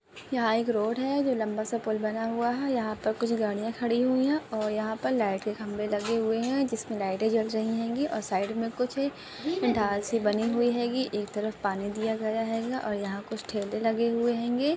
यहाँ एक रोड है जो लंबासा पुल बना हुआ है यहाँ पर कुछ गाड़िया खड़ी हुई है और यहाँ पर लाइट के खंबे लगे हुए है जिसमे लाइटे जल रही हेंगी और साइड मे कुछ डाल से बनी हुई हेगी एक तरफ पानी दिया गया हेंगा और यहाँ कुछ ठेले लगे हुए हेंगे।